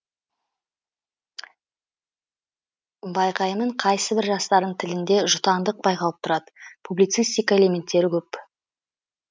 байқаймын қайсыбір жастардың тілінде жұтаңдық байқалып тұрады публицистика элементтері көп